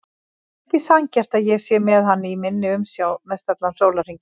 Það er ekki sanngjarnt að ég sé með hann í minni umsjá mestallan sólarhringinn.